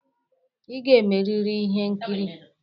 Ị ga-emeriri ihe nkiri.